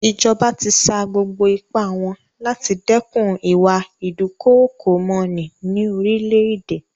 Ìjọba ti sa gbogbo ipá wọn láti dẹ́kun ìwà ìdúkookòmọní ní orílẹ̀-èdè.